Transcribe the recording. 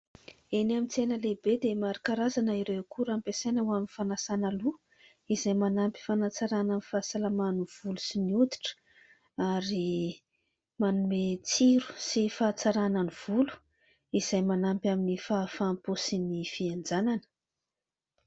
Eny amin'ny tsena lehibe dia maro karazana ireo akora ampiasaina ho amin'ny fanasàna loha izay manampy fanatsaràna ny fahasalaman'ny volo sy ny hoditra ary manome tsiro sy fahatsaràna ny volo izay manampy amin'ny fahafaham-po sy ny fihenjanana.